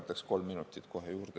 Võtaksin kolm minutit kohe juurde.